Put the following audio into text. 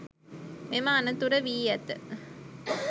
මෙම අනතුර වී ඇත.